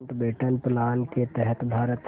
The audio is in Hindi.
माउंटबेटन प्लान के तहत भारत